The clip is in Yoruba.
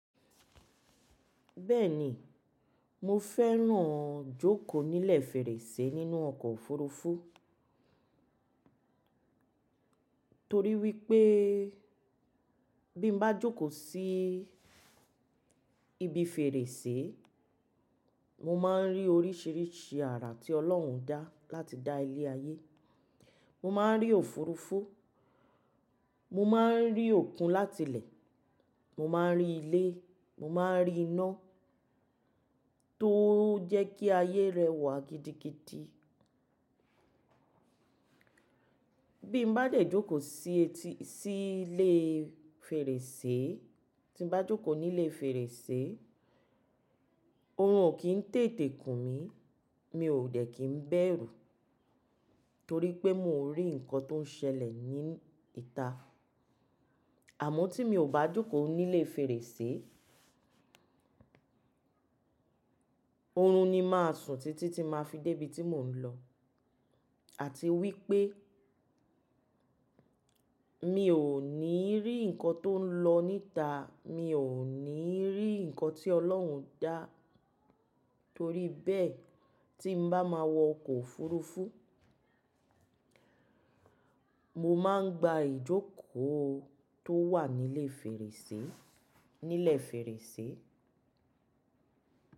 Bẹ́ẹ̀ni, mo fẹ́ràn jókòó nílẹ̀ fèrèsé nínú ọkọ̀ òfurufú torí wípé bí mo bá jókòó sí ibi fèrèsé, mo máa ń rí oríṣìíríṣìí àrà tí Ọlọ́run dá láti dá ilé ayé. Mo máa ń rí òfurufú, mo máa ń rí òkun láti ilẹ̀, mo máa ń rí ilé, mo máa ń rí iná tó jẹ́ kí ayé rẹwà gidigidi. Bím bá lè jókòó sí etí-- sí ilé fèrèsé, tí mo bá jókòó nílé fèrèsé, oorun ò kí ń tètè kùn mí, mi ò dẹ̀ kí ń bẹ̀rù torí pé mo ń rí nǹkan tó ń ṣẹlẹ̀ ní ìta. Àmọ́ tí mi ò bá jókòó nílé fèrèsé, oorun ni máa sùn títí tí màá fi dé ibi tí mò ń lọ. Àti wípé mi ò ní rí nǹkan tó ń lọ níta, mi ò ní rí nǹkan tí Ọlọ́run dá torí bẹ́ẹ̀ tí mo bá máa wọ ọkọ̀ òfurufú, mo máa ń gba ìjókòó tó wà nílé fèrèsé, nílẹ̀ fèrèsé.